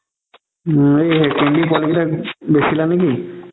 উম এই পোৱালি কেইটাক বেচিলা নে কি?